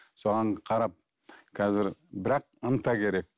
соған қарап қазір бірақ ынта керек